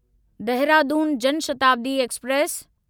Dehradun Jan Shatabdi express